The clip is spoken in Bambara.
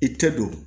I tɛ don